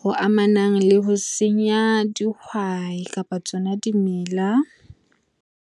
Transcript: ho amanang le ho senya dihwai kapa tsona dimela.